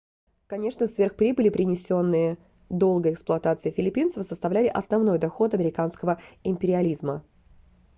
конечно сверхприбыли принесенные долгой эксплуатацией филиппинцев составляли основной доход американского империализма